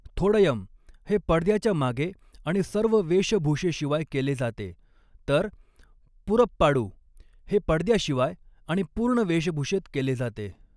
थोडयम हे पडद्याच्या मागे आणि सर्व वेशभूषेशिवाय केले जाते, तर पुरप्पाडू हे पडद्याशिवाय आणि पूर्ण वेशभूषेत केले जाते.